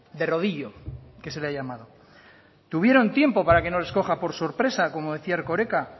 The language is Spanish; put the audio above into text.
de rodillo que se le ha llamado tuvieron tiempo para que no les coja por sorpresa como decía erkoreka